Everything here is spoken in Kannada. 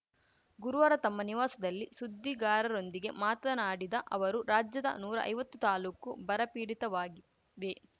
ಗುರುವಾರ ತಮ್ಮ ನಿವಾಸಲ್ಲಿ ಸುದ್ದಿಗಾರರೊಂದಿಗೆ ಮಾತನಾಡಿದ ಅವರು ರಾಜ್ಯದ ನೂರಾ ಐವತ್ತು ತಾಲೂಕು ಬರಪೀಡಿತವಾಗಿವೆ